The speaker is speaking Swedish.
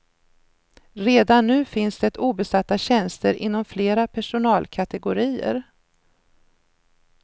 Redan nu finns det obesatta tjänster inom flera personalkategorier.